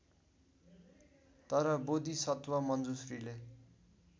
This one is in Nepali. तर बोधिसत्व मञ्जुश्रीले